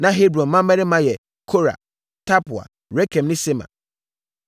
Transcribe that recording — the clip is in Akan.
Na Hebron mmammarima yɛ Kora, Tapua, Rekem ne Sema.